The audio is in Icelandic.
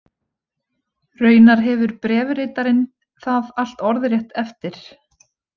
Raunar hefur bréfritarinn það allt orðrétt eftir.